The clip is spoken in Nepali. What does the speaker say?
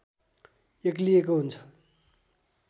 एक्लिएको हुन्छ